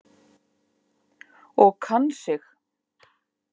Og kann sig.